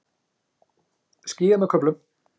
Skýjað með köflum